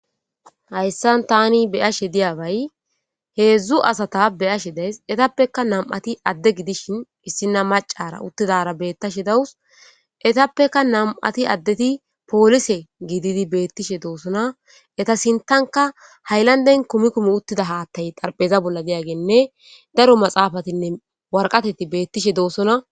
Hayssan tani be'ashe diyabay heedzdzu asata be'ashe de'ayssi. Etappekka nami'ati adde gidishin issina maccara uttidara beetashe dawus. Etappekka nami'ati addeti poolise gididi beettishe doosona. Eta sinttankka haylanden kumi kumi uttida haattay xarapheza bolla diyageynne daro maxaafatinne waraqatati beettishe doosona.